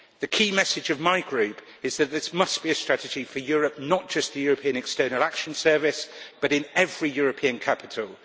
The key message from my Group is that this must be a strategy for Europe not just in the European External Action Service but in every European capital.